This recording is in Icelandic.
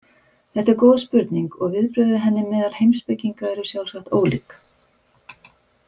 Þetta er góð spurning og viðbrögð við henni meðal heimspekinga eru sjálfsagt ólík.